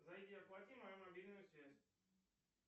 зайди оплати мою мобильную связь